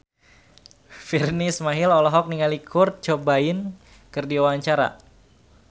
Virnie Ismail olohok ningali Kurt Cobain keur diwawancara